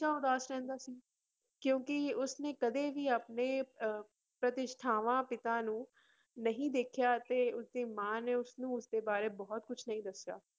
~ਸ਼ਾ ਉਦਾਸ ਰਹਿੰਦਾ ਸੀ ਕਿਉਂਕਿ ਉਸਨੇ ਕਦੇ ਵੀ ਆਪਣੇ ਅਹ ਪ੍ਰਤਿਸ਼ਠਾਵਾਂ ਪਿਤਾ ਨੂੰ ਨਹੀਂ ਦੇਖਿਆ ਤੇ ਉਸਦੇ ਮਾਂ ਨੇ ਉਸਨੂੰ ਉਸਦੇ ਬਾਰੇ ਬਹੁਤ ਕੁਛ ਨਹੀਂ ਦੱਸਿਆ।